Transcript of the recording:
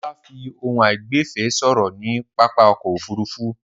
Ọlá fi ohùn àìgbẹ̀fẹ̀ sọ̀rọ̀ ní pápá ọkọ̀-òfurufú.